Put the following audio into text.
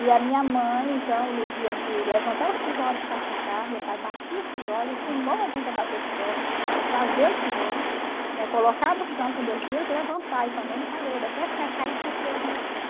E a minha mãe, então, no dia de levantar os tijolos para secar, meu pai batia os tijolos, ensinou a gente a bater tijolo, eh fazer o tijolo, colocar no chão com dois dias, levantar e fazer no parede, até secar e ir para o forno assar.